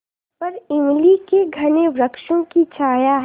ऊपर इमली के घने वृक्षों की छाया है